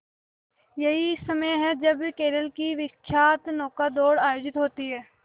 यही समय है जब केरल की विख्यात नौका दौड़ आयोजित होती है